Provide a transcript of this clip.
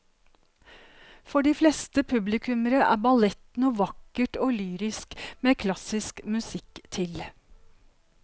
For de fleste publikummere er ballett noe vakkert og lyrisk med klassisk musikk til.